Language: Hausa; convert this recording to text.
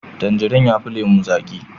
Tangirin yafi lemo zaki